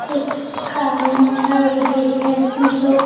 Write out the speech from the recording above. कुछ काम में चल रही है जो--